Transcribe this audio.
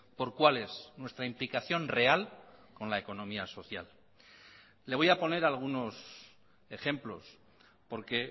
por cuál es nuestra implicación real con la economía social le voy a poner algunos ejemplos porque